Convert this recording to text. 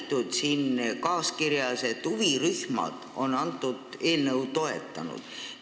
Teil on siin kaaskirjas märgitud, et huvirühmad on eelnõu toetanud.